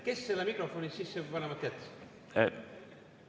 Kes selle mikrofoni sisse panemata jättis?